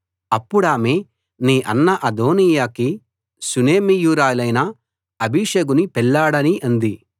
అప్పుడామె నీ అన్న అదోనీయాకి షూనేమీయురాలైన అబీషగుని పెళ్లాడనీ అంది